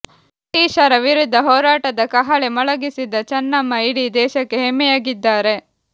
ಬ್ರಿಟೀಷರ ವಿರುದ್ಧ ಹೋರಾಟದ ಕಹಳೆ ಮೊಳಗಿಸಿದ ಚನ್ನಮ್ಮ ಇಡೀ ದೇಶಕ್ಕೆ ಹೆಮ್ಮೆಯಾಗಿದ್ದಾರೆ